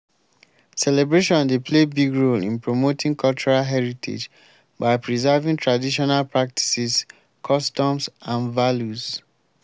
celebration dey play big role in promoting cultural heritage by preserving traditional practices customs and values.